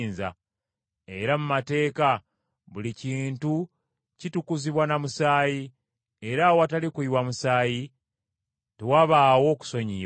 Era mu mateeka buli kintu kitukuzibwa na musaayi, era awatali kuyiwa musaayi tewabaawo kusonyiyibwa.